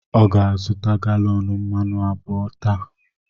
Ọ ga-azụta galọn mmanụ abụọ taa.